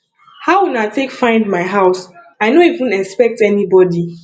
how una take find my house i no even expect anybody